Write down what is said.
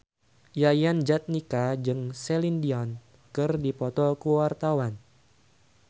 Yayan Jatnika jeung Celine Dion keur dipoto ku wartawan